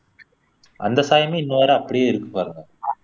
அந்த சாயமே இன்ன வரை அப்படியே இருக்கு பாருங்க